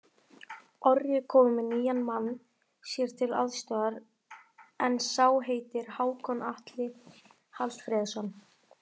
Orri er kominn með nýjan mann sér til aðstoðar, en sá heitir Hákon Atli Hallfreðsson.